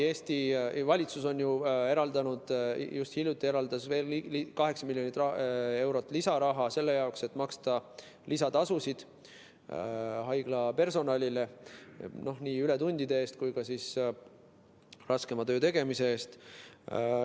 Eesti valitsus just hiljuti eraldas veel 8 miljonit eurot lisaraha selle jaoks, et maksta lisatasusid haiglapersonalile, nii ületundide eest kui ka raskema töö tegemise eest.